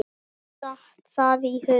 Mér datt það í hug.